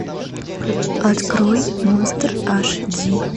открой монстр аш ди